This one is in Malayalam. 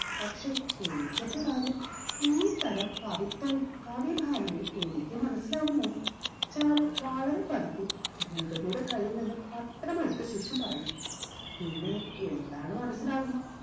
പക്ഷെ എനിക്കെന്ത് കാര്യം ഈ തരം കവിത്വവും കാവ്യ ഭാവനയും എനിക്ക് മനസിലാവുമോ ചാരു വളരെ പതുക്കെ ഭൂപതിയുടെ കയ്യിൽ നിന്ന് പത്രം എടുത്ത ശേഷം പറഞ്ഞു പിന്നെ എന്താണ് മനസിലാവുക